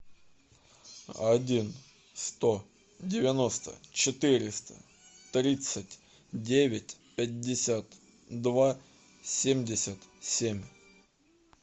один сто девяносто четыреста тридцать девять пятьдесят два семьдесят семь